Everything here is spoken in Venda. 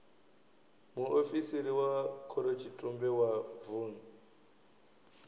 muofisiri wa khorotshitumbe wa vun